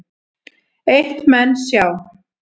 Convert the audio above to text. Eitt menn sjá